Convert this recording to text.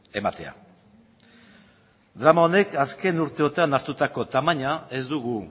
ematea drama honek azken urteotan hartutako tamaina ez dugu